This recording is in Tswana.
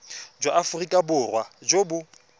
jwa aforika borwa jo bo